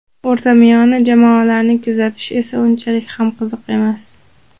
O‘rtamiyona jamoalarni kuzatish esa unchalik ham qiziq emas.